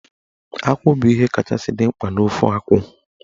Akwụ bụ ihe kachasị dị mkpa n'ofe akwụ.